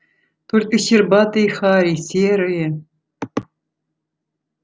только щербатые хари серые